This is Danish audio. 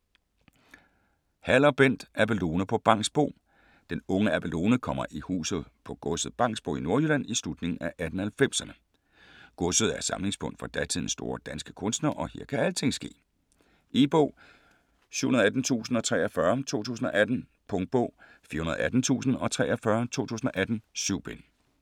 Haller, Bent: Abelone på Bangsbo Den unge Abelone kommer i huset på godset Bangsbo i Nordjylland i slutningen af 1890'erne. Godset er samlingspunkt for datidens store danske kunstnere og her kan alting ske. E-bog 718043 2018. Punktbog 418043 2018. 7 bind.